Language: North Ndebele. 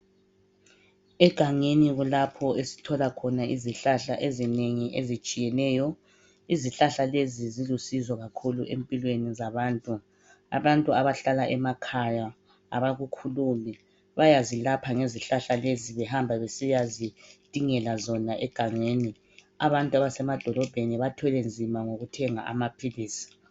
Egangeni kulapho esithola khona izihlahla ezinengi ezitshiyeneyo. Izihlahla lezi silusizo kakhulu empilweni zabantu. Abantu abahlala emakhaya abakukhulumi bayazilapha ngezihlahla lezi behamba besiyazidingela zona egangeni. Abantu abasemadolobheni bathwele nzima ngokuthenga amaphilisi.